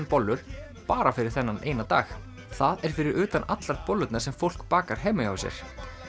bollur bara fyrir þennan dag það er fyrir utan allar bollurnar sem fólk bakar heima hjá sér